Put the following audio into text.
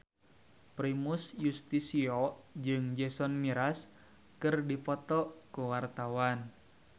Primus Yustisio jeung Jason Mraz keur dipoto ku wartawan